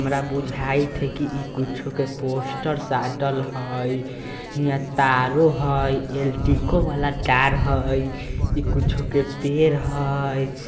हमरा बुझाईत हई कि इ कुछो के पोस्टर साटल हई इहा तारों हई ल टी को वाला तार हई इ कुछो के पेड़ हई ।